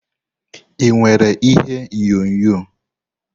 Ị nwere ihe onyonyo?